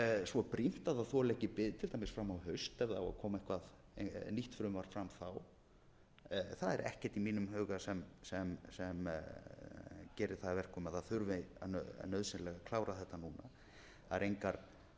svo brýnt að það þoli ekki bið til dæmis fram á haust ef það á að koma eitthvert nýtt frumvarp fram þá það er ekkert í mínum huga sem gerir það að verkum að það þurfi nauðsynlega að klára þetta núna það eru engar